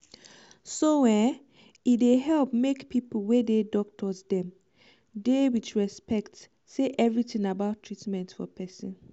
so eh e dey help make pipu wey dey doctors dem dey with respect say everything about treatment for persin